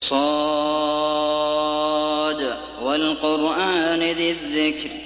ص ۚ وَالْقُرْآنِ ذِي الذِّكْرِ